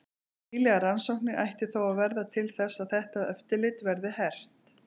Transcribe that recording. Nýlegar rannsóknir ættu þó að verða til þess að þetta eftirlit verði hert.